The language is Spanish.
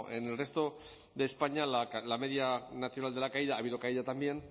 en el resto de españa la media nacional de la caída ha habido caída también